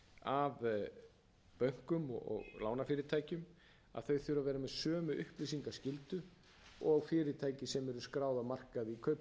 af bönkum og lánafyrirtækjum þau þurfa að vera með sömu upplýsingaskyldu og fyrirtæki sem eru skráð á markaði